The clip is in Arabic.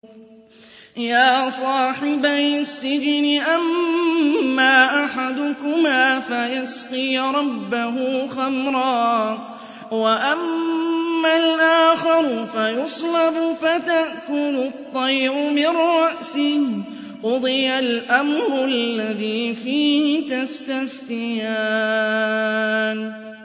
يَا صَاحِبَيِ السِّجْنِ أَمَّا أَحَدُكُمَا فَيَسْقِي رَبَّهُ خَمْرًا ۖ وَأَمَّا الْآخَرُ فَيُصْلَبُ فَتَأْكُلُ الطَّيْرُ مِن رَّأْسِهِ ۚ قُضِيَ الْأَمْرُ الَّذِي فِيهِ تَسْتَفْتِيَانِ